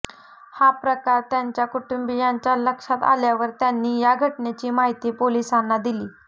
हा प्रकार त्यांच्या कुटुंबियांच्या लक्षात आल्यावर त्यांनी या घटनेची माहिती पोलिसांना दिली